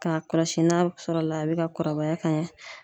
K'a kɔlɔsi n'a sɔrɔ la a bɛ ka kɔrɔbaya ka ɲɛ.